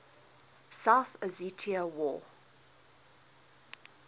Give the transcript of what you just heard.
south ossetia war